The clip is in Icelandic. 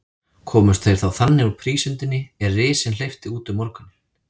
Komust þeir þannig úr prísundinni, er risinn hleypti út um morguninn.